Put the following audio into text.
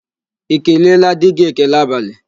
I keleela di gị​ ekele abalị?